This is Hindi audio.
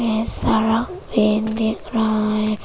ये सारा वैन दिख रहा है।